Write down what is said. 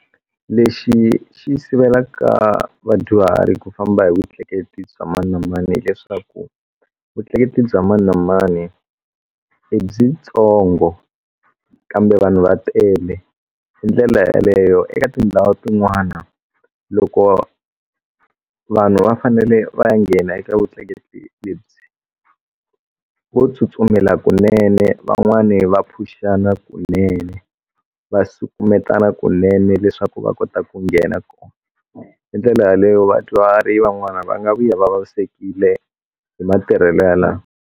Lexi xi yi sivelaka vadyuhari ku famba hi vutleketli bya mani na mani hileswaku vutleketli bya mani na mani i byitsongo kambe vanhu va tele hi ndlela yaleyo eka tindhawu tin'wana loko vanhu va fanele va ya nghena eka vutleketli lebyi vo tsutsumela kunene van'wani va phuxana kunene va sukumetana kunene leswaku va kota ku nghena kona hi ndlela yaleyo vadyuhari van'wana va nga vuya va vavisekile hi matirhelo yalaho.